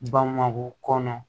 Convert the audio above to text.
Bamakɔ kɔnɔ